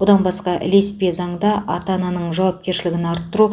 бұдан басқа ілеспе заңда ата ананың жауапкершілігін арттыру